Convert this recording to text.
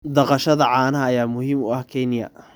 Dhaqashada caanaha ayaa muhiim u ah Kenya.